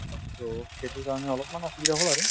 so, সেইটোৰ কাৰণে অলপমান অসুবিধা হল আৰু